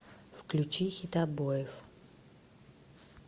включи хитобоев